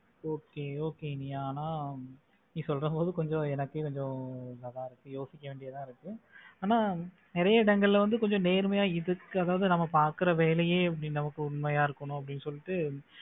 Okay, okay நீ ஆனா நீ சொல்லும்போது கொஞ்சம் எனக்கு இதான் இருக்கு யோசிக்க வேண்டியதா இருக்கு ஆனா நிறைய இடங்களில் வந்து கொஞ்சம் நேர்மையா இதுக்கு அதாவது நம்ம பாக்குற வேலையே நமக்கு உண்மையா இருக்கணும் அப்படின்னு சொல்லிட்டு